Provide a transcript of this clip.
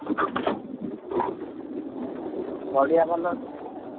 ପଡିଆ ଭଲ ଅଛିତ ନାଁ।